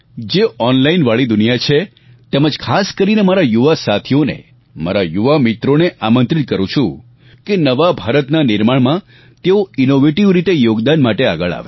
જે ઓનલાઈન વાળી દુનિયા છે તેમજ ખાસ કરીને મારા યુવા સાથીઓને મારા યુવા મિત્રોને આમંત્રિત કરું છું કે નવા ભારતના નિર્માણમાં તેઓ ઇનોવેટીવ રીતે યોગદાન માટે આગળ આવે